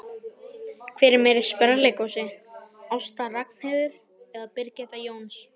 Hver er meiri sprelligosi, Ásta Ragnheiður eða Birgitta Jóns?